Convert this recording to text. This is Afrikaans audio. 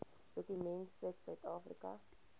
dokument sit suidafrika